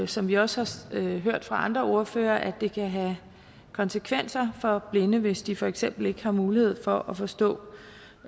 som vi også har hørt fra andre ordførere at det kan have konsekvenser for blinde hvis de for eksempel ikke har mulighed for at forstå